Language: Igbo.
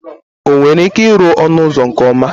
O nwere ike iru onu uzo nke oma?